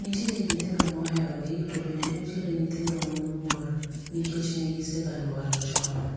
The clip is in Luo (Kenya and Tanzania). NItiere nyithindo moherogi to bende nitie nyithindo ma oluor, nikech ne gisegalwar chon.